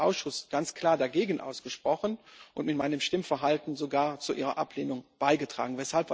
Ich habe mich im Ausschuss ganz klar dagegen ausgesprochen und mit meinem Stimmverhalten sogar zu ihrer Ablehnung beigetragen.